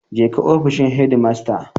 Je ka ofishin shedimasta.